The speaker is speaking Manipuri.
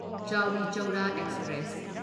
ꯆꯥꯎꯔꯤ ꯆꯧꯔꯥ ꯑꯦꯛꯁꯄ꯭ꯔꯦꯁ